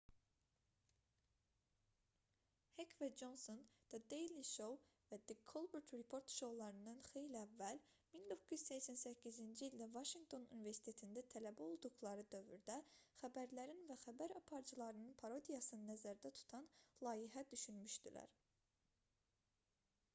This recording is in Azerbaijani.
hek və conson the daily show və the colbert report şoularından xeyli əvvəl 1988-ci ildə vaşinqton universitetində tələbə olduqları dövrdə xəbərlərin və xəbər aparıcılarının parodiyasını nəzərdə tutan layihə düşünmüşdülər